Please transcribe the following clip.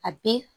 A be